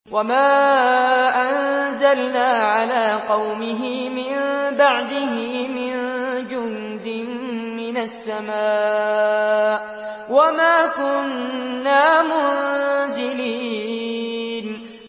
۞ وَمَا أَنزَلْنَا عَلَىٰ قَوْمِهِ مِن بَعْدِهِ مِن جُندٍ مِّنَ السَّمَاءِ وَمَا كُنَّا مُنزِلِينَ